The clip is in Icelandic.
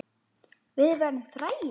Við verðum frægir.